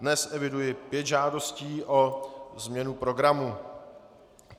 Dnes eviduji pět žádostí o změnu programu.